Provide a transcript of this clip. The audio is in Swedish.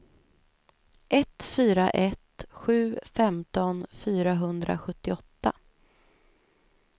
ett fyra ett sju femton fyrahundrasjuttioåtta